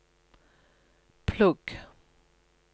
plugg